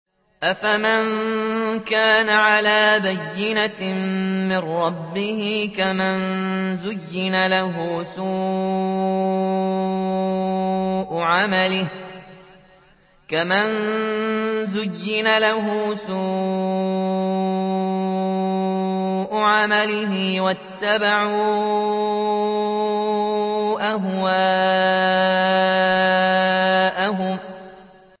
أَفَمَن كَانَ عَلَىٰ بَيِّنَةٍ مِّن رَّبِّهِ كَمَن زُيِّنَ لَهُ سُوءُ عَمَلِهِ وَاتَّبَعُوا أَهْوَاءَهُم